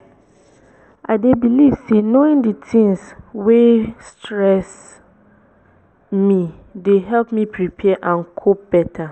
i dey believe say knowing di tings wey stress me dey help me prepare and cope beta.